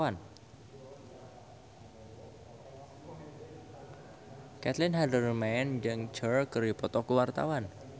Caitlin Halderman jeung Cher keur dipoto ku wartawan